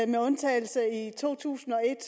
med undtagelse af valget i to tusind og et